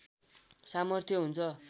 सामर्थ्य हुन्छ